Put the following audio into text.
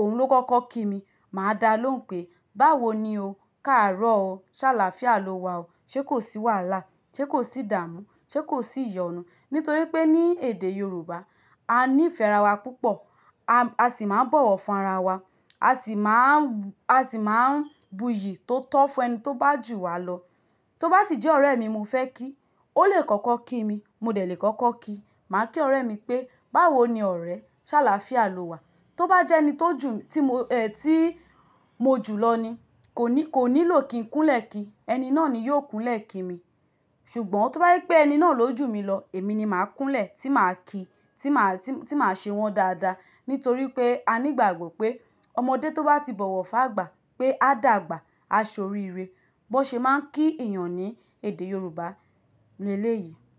òun ló kọ́kọ́ kí mi, màá dá lóhùn pé "báwo ni o, káàárọ̀ o, ṣàlàáfíà ló wà o, ṣé kò sì wàhalá, ṣé kò sì dààmú, ṣé kò sì iyọ̀nú?" Nítorí pé ní èdè Yorùbá, a ní ìfẹ́ ara wa púpọ̀. A sì máa ń bọ̀wọ̀ fún ara wa. A sì máa ń, a sì máa ń buyì tó tọ́ fún ẹni tó bá jù wa lọ. Tó bá sì jẹ́ ọ̀rẹ́ mi mo fẹ́ kí, ó lè kọ́kọ́ kí mi, mo dẹ̀ lè kọ́kọ́ kí. Màá kí ọ̀rẹ́ mi pé "báwo ni ọ̀rẹ́, ṣàlàáfíà ló wà." Tó bá jẹ́ ẹni tó jù, tí mo, ẹ́ tíìì mo jù lọ ni, kò ní, kò nílò kí n kúnlẹ̀ kí. Ẹni náà ni yóò kúnlẹ̀ kí mi. Ṣùgbọ́n tó bá jé pé ẹni náà ló jù mí lọ, èmi ni màá kúnlẹ̀ tí màá kí, tí màá, tí, tí màá ṣe wọ́n dáadáa. Nítorí pé a ní ìgbàgbọ́ pé ọmọdé tó bá ti bọ̀wọ̀ fún àgbà pé a dàgbà, a so ríi ire. Bó ṣe máa ń kí ènìyàn ní èdè Yorùbá ni eleyìí.